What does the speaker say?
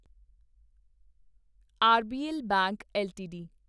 RBL bank LTD